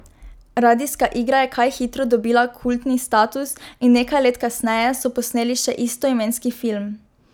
Radijska igra je kaj hitro dobila kultni status in nekaj let kasneje so posneli še istoimenski film.